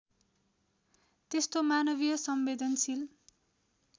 त्यस्तो मानवीय संवेदनशील